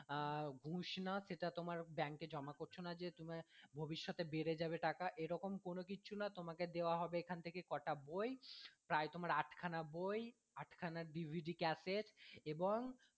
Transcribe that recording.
আহ ঘুস না সেটা তোমার bank এ জমা করছো না যে তুমি ভবিষ্যৎ এ বেড়ে যাবে টাকা এরকম কোনো কিছু না তোমাকে দেওয়া হবে এখান থেকে কটা বই প্রায় তোমার আট খানা বই আটখানা DVDcassette এবং